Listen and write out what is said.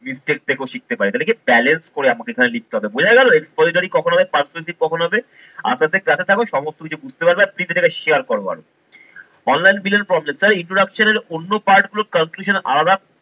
থেকেও শিখতে পারি। তালে কি balance করে আমাকে এখানে লিখতে হবে বোঝা গেল ex probatory কখন হবে persuasive কখন হবে? আর তাদের ক্লাসে থাকো সমস্ত কিছু বুঝতে পারবে আর please এটাকে share করো আরো। Online bill এর problem. Sir introduction এর অন্য part গুলো conclusion এ আলাদা